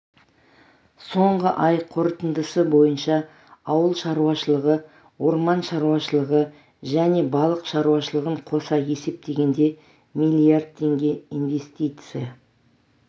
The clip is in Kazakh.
соңғы ай қорытындысы бойынша ауыл шаруашылығы орман шаруашылығы және балық шаруашылығын қоса есептегенде млрд теңге инвестиция